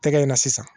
Tɛgɛ in na sisan